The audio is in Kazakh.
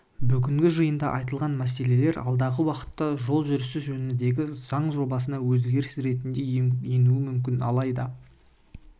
бүгінгі жиында айтылған мәселелер алдағы уақытта жол жүрісі жөніндегі заң жобасына өзгеріс ретінде енуі мүмкін алайда